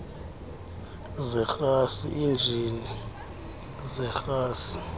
zerhasi injini yerhasi